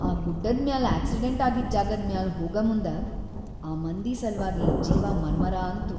ಆ ಗುಡ್ಡದ್‌ ಮ್ಯಾಲ್‌ ಆಕ್ಸಿಡೆಂಟ್‌ ಆಗಿದ್‌ ಜಾಗದ್‌ ಮ್ಯಾಲ್ ಹೋಗಮುಂದ ಆ ಮಂದಿ ಸಲ್ವಾಗಿ ಜೀವ ಮರಮರ ಅನ್ತು.